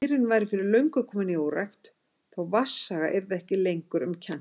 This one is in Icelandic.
Mýrin væri fyrir löngu komin í órækt, þó vatnsaga yrði ekki lengur um kennt.